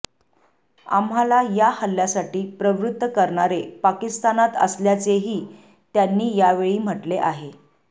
आम्हाला या हल्ल्यासाठी प्रवृत्त करणारे पाकिस्तानात असल्याचेही त्यांनी यावेळी म्हटले आहे